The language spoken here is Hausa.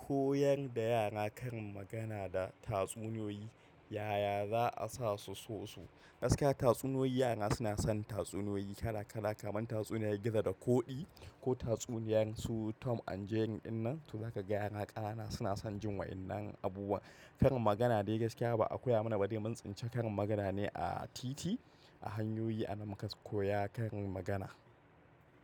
Koyanda yara karin magana da tatsuniyoyi yaya za'a sasu. So gaskiya tatsuniyoyi yara suna son tatsuniyoyi kala kala kamar tatsuniyan gizo da koɗi ko tatsuniyan su Tom and Jerry. Din nan to zaka ga yara ƙanana suna son jin wa'innan abubuwa. Karin magana dai gaskiya ba a koya mana ba dai mun tsinci karin magana ne a titi, a hanyoyi ana mukas koya karin magana.